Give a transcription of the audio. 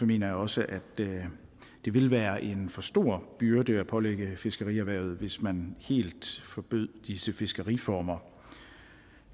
mener jeg også at det ville være en for stor byrde at pålægge fiskerierhvervet hvis man helt forbød disse fiskeriformer